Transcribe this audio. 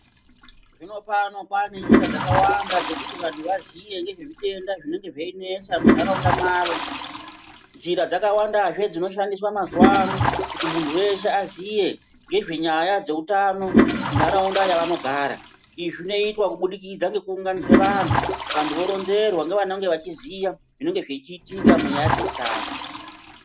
Zvino pano kwane njira dzakawanda dzekuti vantu vaziye ngezve zvitenda zvinenge zveinesa munharaunda mwavo njira dzakawandazve dzinoshandiswa mazuwa ano kuti muntu weshe aziye ngezve nyaya dzeutano munharaunda yavanogara izvi zvinoitwa kubudikidza ngekuunganidze vantu vantu voronzerwa ngevanenge vachiziva zvinenge zvichiitika munyaya dzeutano.